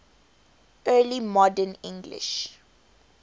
early modern english